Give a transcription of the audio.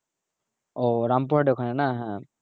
ও রামপুরহাট এর ওখানে না হ্যাঁ